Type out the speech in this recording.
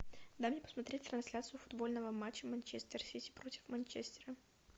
дай мне посмотреть трансляцию футбольного матча манчестер сити против манчестера